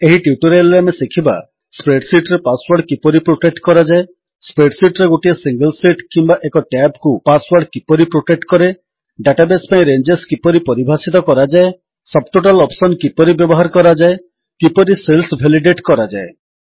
ଏହି ଟ୍ୟୁଟୋରିଆଲ୍ ରେ ଆମେ ଶିଖିବା ସ୍ପ୍ରେଡ୍ ଶୀଟ୍ ରେ ପାସୱର୍ଡ କିପରି ପ୍ରୋଟେକ୍ଟ କରାଯାଏ ସ୍ପ୍ରେଡ୍ ଶୀଟ୍ ରେ ଗୋଟିଏ ସିଙ୍ଗଲ୍ ଶୀଟ୍ କିମ୍ୱା ଏକ ଟ୍ୟାବ୍ କୁ ପାସୱର୍ଡ କିପରି ପ୍ରୋଟେକ୍ଟ କରେ ଡାଟାବେସ୍ ପାଇଁ ରେଞ୍ଜେସ୍ କିପରି ପରିଭାଷିତ କରାଯାଏ ସବ୍ ଟୋଟାଲ୍ ଅପ୍ସନ୍ କିପରି ବ୍ୟବହାର କରାଯାଏ କିପରି ସେଲ୍ସ ଭେଲିଡେଟ୍ କରାଯାଏ